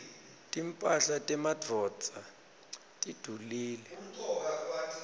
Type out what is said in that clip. timphahla temadvodza tidulile